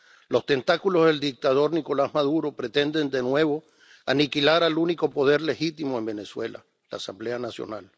Los tentáculos del dictador Nicolás Maduro pretenden de nuevo aniquilar al único poder legítimo en Venezuela, la Asamblea Nacional.